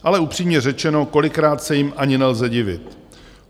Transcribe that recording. Ale upřímně řečeno, kolikrát se jim ani nelze divit.